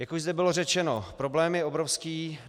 Jak už zde bylo řečeno, problém je obrovský.